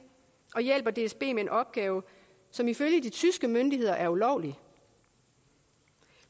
og hjælper dsb med en opgave som ifølge de tyske myndigheder er ulovlig